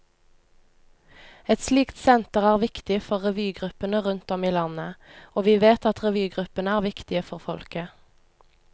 Et slikt senter er viktig for revygruppene rundt om i landet, og vi vet at revygruppene er viktige for folket.